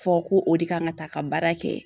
Fɔ ko o de kan ka taa ka baara kɛ